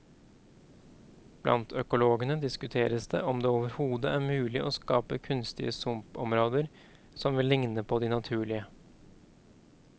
Blant økologene diskuteres det om det overhodet er mulig å skape kunstige sumpområder som vil ligne på de naturlige.